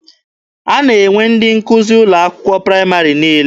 A na-enwe ndị nkụzi n'ụlọ akwụkwọ praịmarị niile.